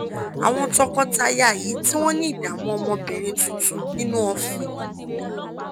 àwọn tọkọtaya yìí tí wọ́n ní ìdààmú ọmọbìnrin tuntun nínú òfin